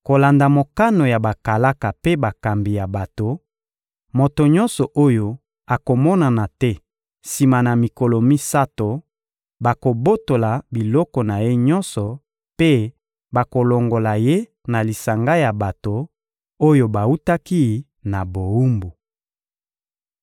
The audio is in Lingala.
Kolanda mokano ya bakalaka mpe bakambi ya bato, moto nyonso oyo akomonana te sima na mikolo misato, bakobotola biloko na ye nyonso mpe bakolongola ye na lisanga ya bato oyo bawutaki na bowumbu.